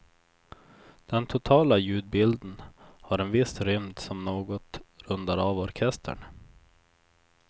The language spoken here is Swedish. Den totala ljudbilden har en viss rymd som något rundar av orkestern.